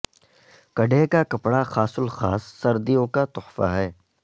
کڈھے کا کپڑا خاص الخاص سردیوں کا تخفہ ھے